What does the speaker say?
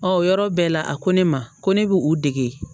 o yɔrɔ bɛɛ la a ko ne ma ko ne bɛ u dege